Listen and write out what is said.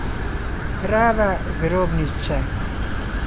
Prava grobnica.